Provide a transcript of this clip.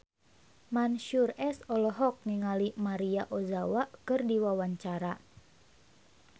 Mansyur S olohok ningali Maria Ozawa keur diwawancara